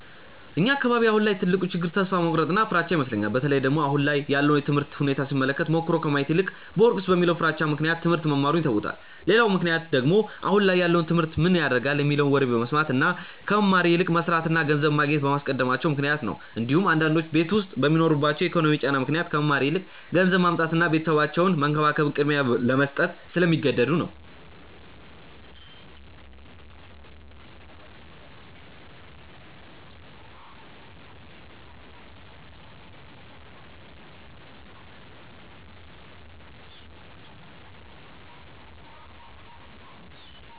እኛ አካባቢ አሁን ላይ ትልቁ ችግር ተስፋ መቁረጥ እና ፍራቻ ይመስለኛል። በተለይ ደግሞ አሁን ላይ ያለውን የትምህርት ሁኔታ ሲመለከቱ ሞክሮ ከማየት ይልቅ ብወድቅስ በሚለው ፍራቻ ምክንያት ትሞህርት መማሩን ይተውታል። ሌላው ምክንያት ደግሞ አሁን ላይ ያለውን ትምህርት ምን ያረጋል የሚለውን ወሬ በመስማት እና ከመማር ይልቅ መስርትን እና ገንዘብ ማግኘትን በማስቀደማቸው ምክንያት ነው እንዲሁም አንዳንዶቹ ቤት ዉስጥ በሚኖርባቸው የኢኮኖሚ ጫና ምክንያት ከመማር ይልቅ ገንዘብ ማምጣትን እና ቤተሰባቸውን መንከባከብን ቅድሚያ ለመስጠት ስለሚገደዱ ነው።